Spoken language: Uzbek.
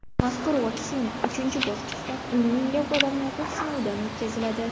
Mazkur vaksina uchinchi bosqichda o‘n minglab odamlarda sinovdan o‘tkaziladi .